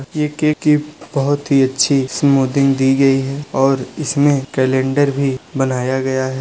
ये केक की बहुत ही अच्छी स्मूथिंग दी गई है और इसमें कैलंडर भी बनाया गया है।